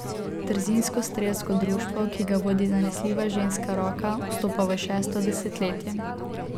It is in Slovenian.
Trzinsko strelsko društvo, ki ga vodi zanesljiva ženska roka, vstopa v šesto desetletje.